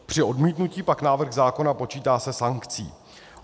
Při odmítnutí pak návrh zákona počítá se sankcí.